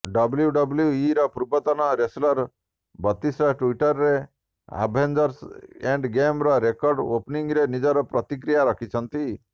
ଡବ୍ଲ୍ୟୁଡବ୍ଲ୍ୟୁଇର ପୂର୍ବତନ wrestler Batista ଟ୍ବିଟରରେ Avengers ଏଣ୍ଡଗେମର ରେକର୍ଡ଼ ଓପନିଙ୍ଗରେ ନିଜର ପ୍ରତିକ୍ରିୟା ରଖିଛନ୍ତି